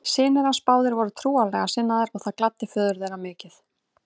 Synir hans báðir voru trúarlega sinnaðir og það gladdi föður þeirra mikið.